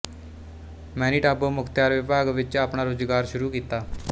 Manitoba ਮੁਖਤਿਆਰ ਵਿਭਾਗ ਵਿੱਚ ਆਪਣਾ ਰੁਜ਼ਗਾਰ ਸ਼ੁਰੂ ਕੀਤਾ